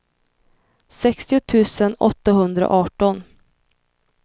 sextio tusen åttahundraarton